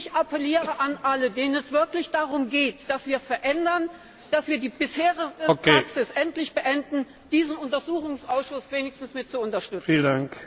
Ich appelliere an alle, denen es wirklich darum geht, dass wir etwas verändern und die bisherige Praxis endlich beenden, diesen Untersuchungsausschuss wenigstens mit zu unterstützen!